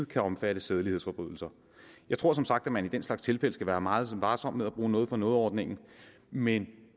kan omfatte sædelighedsforbrydelser jeg tror som sagt at man i den slags tilfælde skal være meget varsom med at bruge noget for noget ordningen men